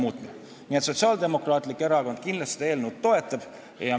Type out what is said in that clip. Nii et Sotsiaaldemokraatlik Erakond kindlasti seda eelnõu toetab.